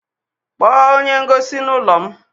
Kpọọ onye ngosi n'ụlọ m!